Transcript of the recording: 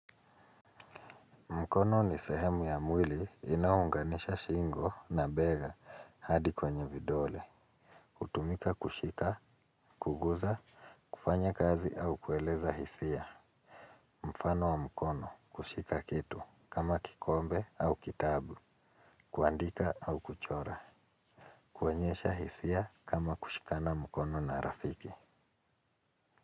Mkono ni sehemu ya mwili inaunganisha shingo na bega hadi kwenye vidole. Hutumika kushika, kuguza, kufanya kazi au kueleza hisia. Mfano wa mkono kushika kitu kama kikombe au kitabu. Kuandika au kuchora. Kuonyesha hisia kama kushikana mkono na rafiki.